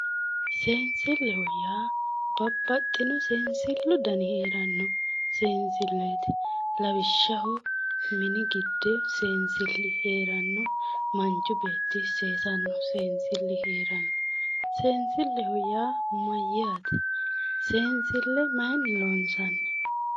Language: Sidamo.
Seensilleho yaa babbaxino seensilu dani heeranno seensilleeti lawishshaho mini giddi seensilli heeranno manchi beetti seesanno seensilli heeranno. seensilleho yaa mayyaate? seensille maayiinni loonsanni?